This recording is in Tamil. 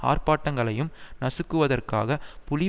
ஆர்ப்பாட்டங்களையும் நசுக்குவதற்காக புலி